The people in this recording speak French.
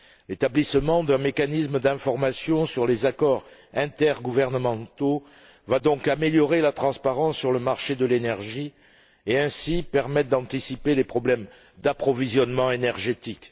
L'établissement d'un mécanisme d'information sur les accords intergouvernementaux va donc améliorer la transparence sur le marché de l'énergie et, ainsi, permettre d'anticiper les problèmes d'approvisionnement énergétique.